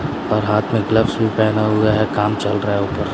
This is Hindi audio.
और हाथ में ग्लव्स भी पहना हुआ है काम चल रहा है ऊपर--